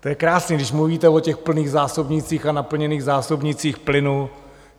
To je krásné, když mluvíte o těch plných zásobnících a naplněných zásobnících plynu.